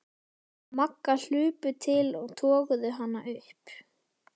Magga hlupu til og toguðu hana upp.